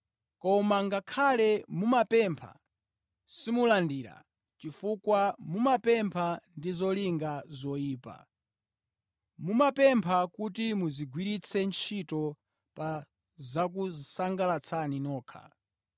Koma ngakhale mumapempha simulandira, chifukwa mumapempha ndi zolinga zoyipa. Mumapempha kuti muzigwiritse ntchito pa zokusangalatsani nokha.